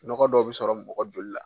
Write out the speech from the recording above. Nɔgɔ dɔw bɛ sɔrɔ mɔgɔ joli la.